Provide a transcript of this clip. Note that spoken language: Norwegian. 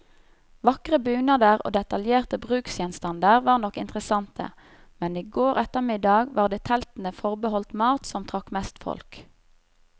Vakre bunader og detaljerte bruksgjenstander var nok interessante, men i går ettermiddag var det teltene forbeholdt mat, som trakk mest folk.